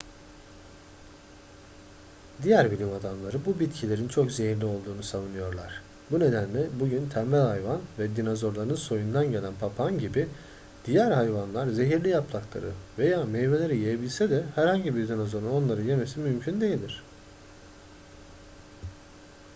diğer bilim adamları bu bitkilerin çok zehirli olduğunu savunuyorlar bu nedenle bugün tembel hayvan ve dinozorların soyundan gelen papağan gibi diğer hayvanlar zehirli yaprakları veya meyveleri yiyebilse de herhangi bir dinozorun onları yemesi mümkün değildir